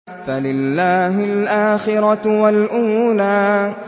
فَلِلَّهِ الْآخِرَةُ وَالْأُولَىٰ